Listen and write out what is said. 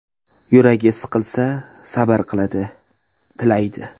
Yuragi siqilsa, sabr qiladi (tilaydi).